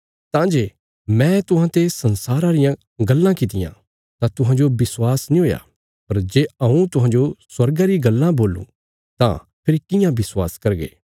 ताहली जे हऊँ तुहांने संसारा रे बारे च गल्लां करां तां तुहें मेरा विश्वास नीं करदे पर जे हऊँ तुहांने स्वर्गा रे बारे च गल्लां करूँ तां कियां विश्वास करगे